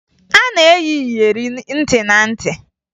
A na-eyi iyeri ntị na ntị